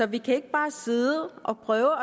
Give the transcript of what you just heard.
vi kan ikke bare sidde og prøve